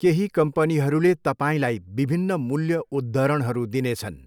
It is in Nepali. केही कम्पनीहरूले तपाईँलाई विभिन्न मूल्य उद्धरणहरू दिनेछन्।